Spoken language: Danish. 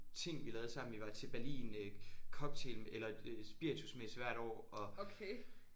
Ting vi lavede sammen vi var til Berlin øh cocktail eller øh spiritusmesse hvert år og